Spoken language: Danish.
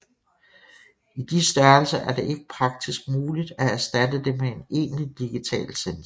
I de størrelser er det ikke praktisk muligt at erstatte det med en egentlig digital sensor